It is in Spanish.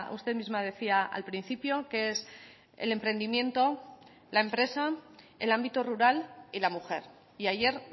usted misma decía al principio que es el emprendimiento la empresa el ámbito rural y la mujer y ayer